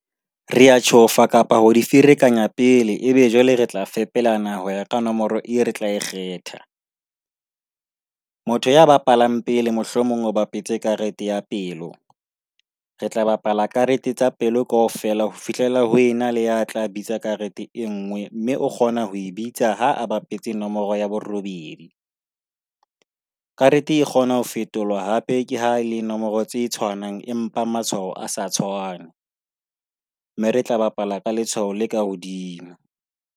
Re a tjhofa kapa ho di ferekanya pele, ebe jwale re tla fepelana ho ya ka nomoro eo re tla e kgetha. Motho ya bapalang pele mohlomong o bapetse karete ya pelo, re tla bapala karete tsa pelo kaofela ho fihlela ho ena le ya tla bitsa karete e nngwe mme o kgona ho e bitsa ha a bapetse nomoro ya borobedi. Karete e kgonwa ho fetolwa hape ke ha e le nomoro tse tshwanang empa matshwao a sa tshwane mme re tla bapala ka letshwao le ka hodimo.